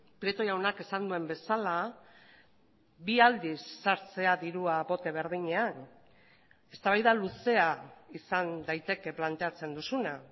prieto jaunak esan duen bezala bi aldiz sartzea dirua bote berdinean eztabaida luzea izan daiteke planteatzen duzuna